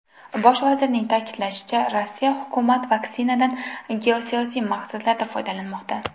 Bosh vazirning ta’kidlashicha, Rossiya hukumati vaksinadan geosiyosiy maqsadlarda foydalanmoqda.